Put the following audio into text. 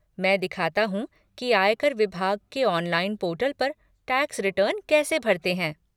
मैं दिखाता हूँ की आयकर विभाग के ऑनलाइन पोर्टल पर टैक्स रिटर्न कैसे भरते हैं।